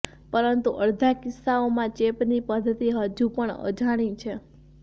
પરંતુ અડધા કિસ્સાઓમાં ચેપની પદ્ધતિ હજુ પણ અજાણી છે